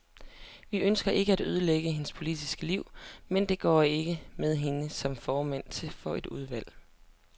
Vi ønsker ikke at ødelægge hendes politiske liv, men det går ikke med hende som formand for et udvalg.